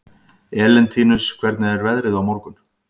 Elentínus, hvernig er veðrið á morgun?